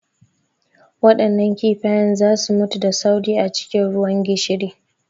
Waɗannan kifayen za su mutu da sauri a cikin ruwan gishiri.